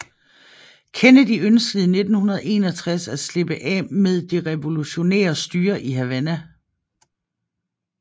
Kennedy ønskede i 1961 at slippe af med det revolutionære styre i Havana